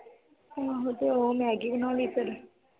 ਆਹੋ ਤੇ ਉਹ ਮੈਗੀ ਬਣਾ ਲਈ ਫਿਰ